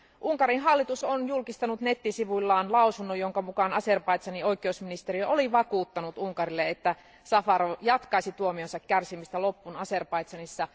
Unkarin hallitus on julkistanut nettisivuillaan lausunnon, jonka mukaan Azerbaidžanin oikeusministeriö oli vakuuttanut Unkarille, että Safarov jatkaisi tuomionsa kärsimistä loppuun Azerbaidžanissa.